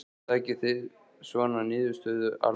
Gunnar: Takið þið svona niðurstöðu alvarlega?